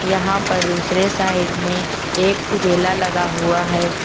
यहां पर दूसरे साइड में एक उजेला लगा हुआ है।